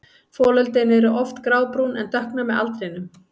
Folöldin eru oft grábrún en dökkna með aldrinum.